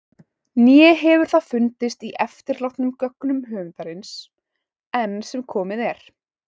Né hefur það fundist í eftirlátnum gögnum höfundarins- enn sem komið er.